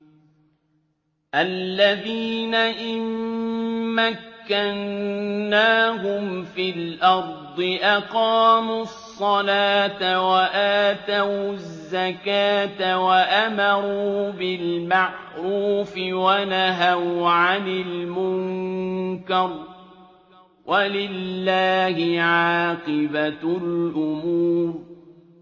الَّذِينَ إِن مَّكَّنَّاهُمْ فِي الْأَرْضِ أَقَامُوا الصَّلَاةَ وَآتَوُا الزَّكَاةَ وَأَمَرُوا بِالْمَعْرُوفِ وَنَهَوْا عَنِ الْمُنكَرِ ۗ وَلِلَّهِ عَاقِبَةُ الْأُمُورِ